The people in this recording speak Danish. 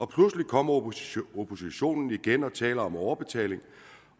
pludselig kommer oppositionen oppositionen igen og taler om overbetaling